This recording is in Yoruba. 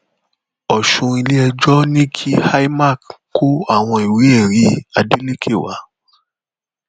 ọṣùn iléẹjọ ní kí imac kó àwọn ìwéẹrí adeleke wá